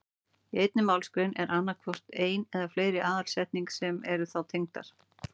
Í einni málsgrein er annað hvort ein eða fleiri aðalsetning sem eru þá tengdar.